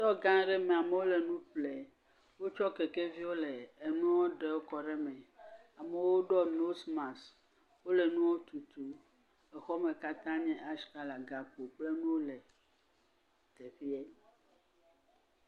… gã aɖe me, amewo le nu ƒlem, wotsɔ kekeviwo le enuwo ɖe kɔ ɖe me. Amewo ɖɔ nosmas. Wole nuwo tutu, exɔ me katã nye atsi kala, gakpo kpl nuwo le teƒee.